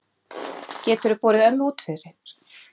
Geturðu borið ömmu út fyrir?